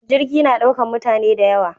Jirgi na ɗaukan mutane dayawa